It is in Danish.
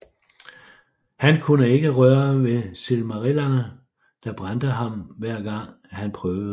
Han kunne ikke røre ved silmarillerne der brændte ham hver gang han prøvede på det